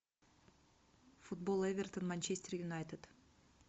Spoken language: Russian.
футбол эвертон манчестер юнайтед